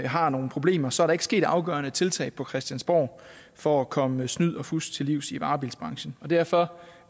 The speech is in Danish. har nogle problemer så er der ikke sket afgørende tiltag på christiansborg for at komme snyd og fusk til livs i varebilsbranchen og derfor